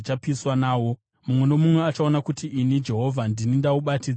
Mumwe nomumwe achaona kuti ini Jehovha ndini ndaubatidza; haungadzimwi.’ ”